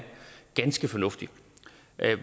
ganske fornuftig